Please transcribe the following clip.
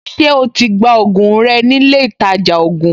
Ṣé o ti gba ògùn rẹ nílé ìtajà ògùn?